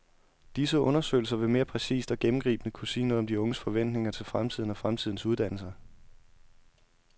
Disse undersøgelser vil mere præcist og gennemgribende kunne sige noget om de unges forventninger til fremtiden og fremtidens uddannelser.